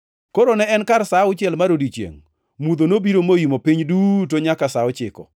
Koro ne en kar sa auchiel mar odiechiengʼ, mudho nobiro moimo piny duto nyaka sa ochiko,